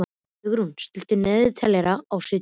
Ingrún, stilltu niðurteljara á sjötíu mínútur.